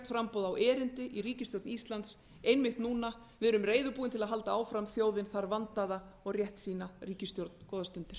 framboð á erindi í ríkisstjórn íslands einmitt núna við erum reiðubúin til að halda áfram þjóðin þarf vandaða og réttsýna ríkisstjórn góðar stundir